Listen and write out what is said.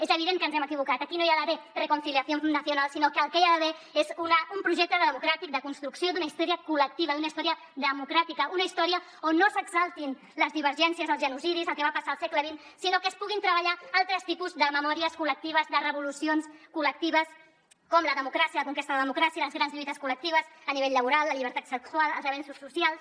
és evident que ens hem equivocat aquí no hi ha d’haver reconciliación nacional sinó que el que hi ha d’haver és un projecte democràtic de construcció d’una història col·lectiva d’una història democràtica una història on no s’exaltin les divergències els genocidis el que va passar al segle xx sinó que es puguin treballar altres tipus de memòries col·lectives de revolucions col·lectives com la democràcia la conquesta de la democràcia les grans lluites col·lectives a nivell laboral la llibertat sexual els avenços socials